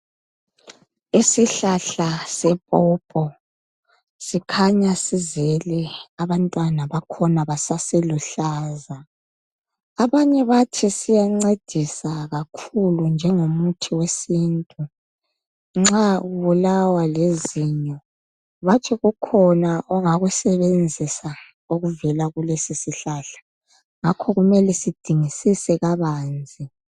Isihlahla sepopo sikhanya sizele abantwana bakhona basase luhlaza .Abanye bathi siyancedisa kakhulu njengo muthi wesintu Nxa ubulawa lizinyo bathi kukhona ongakusebenzisa okuvela kulesi sihlahla ngakho kumele sidingisise kabanzi .